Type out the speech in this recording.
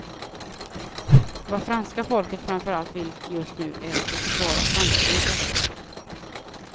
Vad franska folket framförallt vill just nu är att vi försvarar franska intressen.